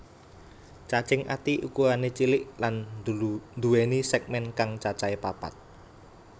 Cacing ati ukurané cilik lan nduwèni sègmèn kang cacahé papat